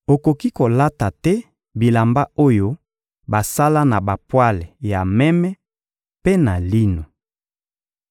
Okoki kolata te bilamba oyo basala na bapwale ya meme mpe na lino.